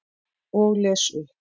Og les upp.